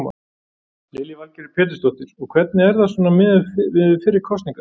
Lillý Valgerður Pétursdóttir: Og hvernig er það svona miðað við fyrri kosningar?